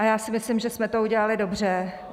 A já si myslím, že jsme to udělali dobře.